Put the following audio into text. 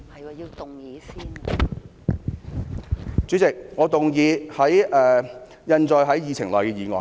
代理主席，我動議通過印載於議程內的議案。